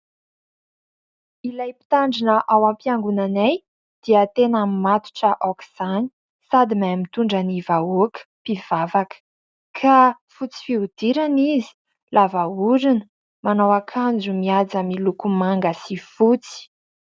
Ilay mpitandrina ao am-piangonanay dia tena matotra aok'izany sady mahay mitondra ny vahoaka mpivavaka. Ka fotsy fihodirana izy, lava orona, manao akanjo mihaja miloko manga sy fotsy.